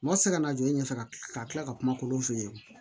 Mɔgɔ tɛ se ka na jɔ i ɲɛfɛ ka tila ka tila ka kuma olu fɛ yen